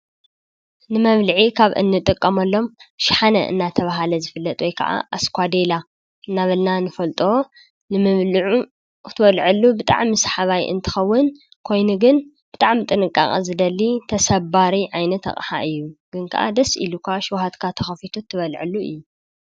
ንመብልዒ ካብ እንጥቀመሎም ሸሓነ እናተባህለ ዝፍለጥ ወይ ከኣ ኣስኳዴላ እናበልና ንፈልጦ ንምብልዑ ክትወልዐሉ ብጣዕሚ ሰሓባይ እንትኸውን ኮይኑ ግን ብጣዕሚ ጥንቃቐ ዝደሊ ተሰባሪ ዓይነት ኣቕሓ እዩ :: ግን ከኣ ሸውሃትኻ ተኸፊቱ ትበልዐሉ እዩ::